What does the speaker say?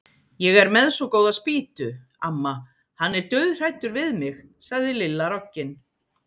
Ég er með svo góða spýtu, amma, hann er dauðhræddur við mig sagði Lilla roggin.